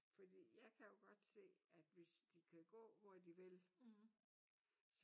Fordi jeg kan jo godt se at hvis de kan gå hvor de vil